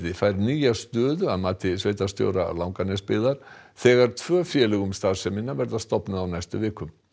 fær nýja stöðu að mati sveitarstjóra Langanesbyggðar þegar tvö félög um starfsemina verða stofnuð á næstu vikum